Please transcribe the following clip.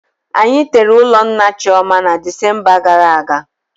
Anyi tere ụlọ nna Chioma na Desemba gara aga